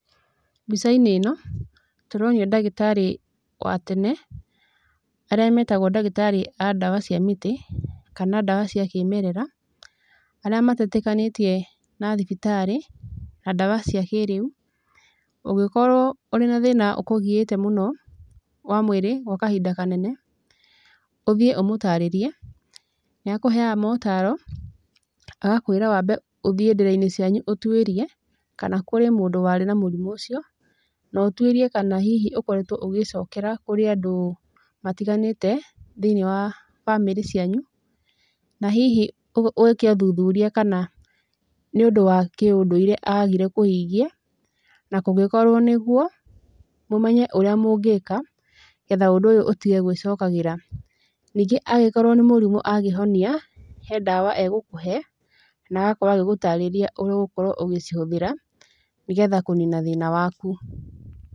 Mbicainĩ ĩno, tũronio ndagĩtarĩ wa tene, arĩa metagũo ndagĩtarĩ a ndawa cia mĩtĩ, kana ndawa cia kĩmerera, arĩa matetĩkanĩtie na thibitarĩ, na ndawa cia kĩrĩu, ũngĩkorũo ũrĩ na thĩna ũkũgiĩte mũno, wa mwĩrĩ, gwa kahinda kanene, ũthiĩ ũmũtarĩrie, nĩakũheaga motaro, agakwĩra wambe ũthiĩ ndĩrainĩ cianyu ũtwĩrie, kana kũrĩ mũndũ warĩ na mũrimũ ũcio, na ũtwĩrie kana hihi ũkoretũo ũgĩcokera kũrĩ andũ, matiganĩte, thĩinĩ wa bamĩrĩ cianyu, na hihi wĩke ũthuthuria kana nĩũndũ wa kĩũndũire agire kũhingia, na kũngĩkorũo nĩguo, mũmenye ũrĩa mũngĩka, nĩgetha ũndũ ũyũ ũtige gwĩcokagĩra. Ningĩ angĩkoruo nĩ mũrimũ angĩhonia, he ndawa egũkũhe, na agakorũo agĩgũtarĩria ũrĩa ũgũkorũo ũgĩcihũthĩra, nĩgetha kũnina thĩna waku.